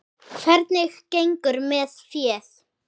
Hvernig gengur með féð?